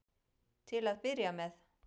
Til að byrja með.